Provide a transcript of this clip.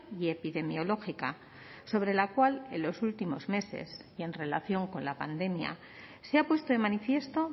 y epidemiológica sobre la cual en los últimos meses y en relación con la pandemia se ha puesto de manifiesto